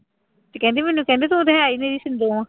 ਤੇ ਕਹਿੰਦੀ ਮੈਨੂੰ ਕਹਿੰਦੇ ਤੁੰ ਤੇ ਹੈ ਨਿਰੀ ਸਿੰਦੋਂ ਆਂ।